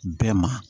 Bɛɛ ma